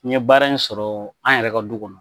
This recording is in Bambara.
N ye baara in sɔrɔ an yɛrɛ ka du kɔnɔ